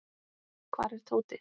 Hvar er Tóti?